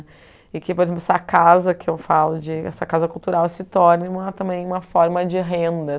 E que, por exemplo, essa casa que eu falo de essa cultural se torne uma também uma forma de renda.